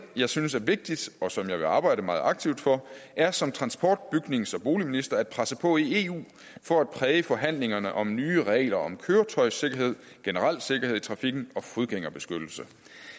jeg synes er vigtigt og som jeg vil arbejde meget aktivt for er som transport bygnings og boligminister at presse på i eu for at præge forhandlingerne om nye regler om køretøjssikkerhed generel sikkerhed i trafikken og fodgængerbeskyttelse